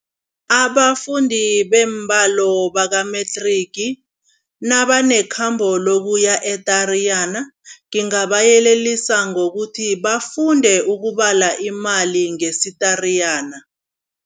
Abafundi beembalo baka-matric nabanekhambo lokuya e-Tariyana, ngingabayelelisa ngokuthi bafunde ukubala imali ngesi-Tariyana.